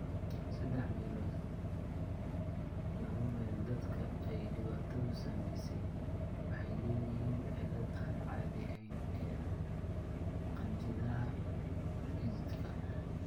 Saddex meelood laba meel dadka ay dhibaatadu saameysey waxay lahaayeen cillad aan caadi ahayn ee qanjidhada dhididka.